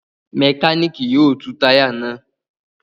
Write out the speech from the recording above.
Mẹkáníkì yóò tú táyà náà.